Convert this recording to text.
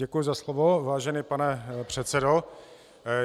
Děkuji za slovo, vážený pane předsedo.